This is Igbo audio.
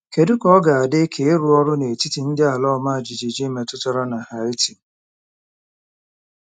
Kedu ka ọ dị ka ịrụ ọrụ n'etiti ndị ala ọma jijiji metụtara na Haiti?